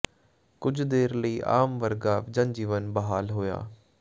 ਕੁਝ ਦੇਰ ਲਈ ਆਮ ਵਰਗਾ ਜਨ ਜੀਵਨ ਬਹਾਲ ਹੋਇਆ